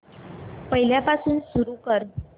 पहिल्यापासून सुरू कर